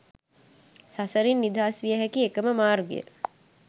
සසරින් නිදහස් විය හැකි එක ම මාර්ගය